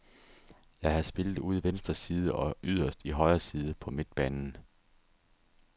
Jeg har spillet ude i venstre side og yderst i højre side på midtbanen.